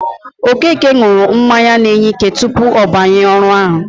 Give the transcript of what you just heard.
Okeke ṅụrụ mmanya na-enye ike tupu ọ banye ọrụ ahụ.